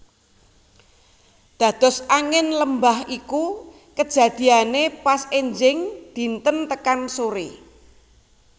Dados Angin lembah iku kejadiane pas enjing dinten tekan sore